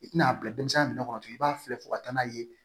I tɛna a bila denmisɛnnin min kɔnɔ i b'a filɛ fo ka taa n'a ye